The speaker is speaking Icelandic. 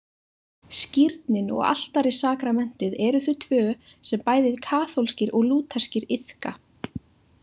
Skírnin og altarissakramentið eru þau tvö sem bæði kaþólskir og lútherskir iðka.